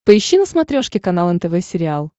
поищи на смотрешке канал нтв сериал